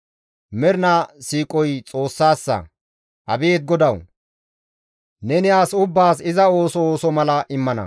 mernaa siiqoy Xoossassa.» Abeet Godawu! Neni as ubbaas iza ooso ooso mala immana.